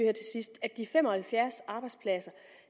at de fem og halvfjerds arbejdspladser